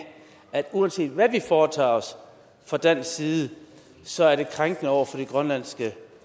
at uanset hvad vi foretager os fra dansk side så er det krænkende over for det grønlandske